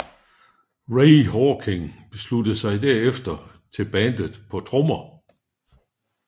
Ray Hawking sluttede sig herefter til bandet på trommer